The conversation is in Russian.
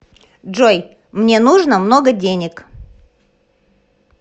джой мне нужно много денег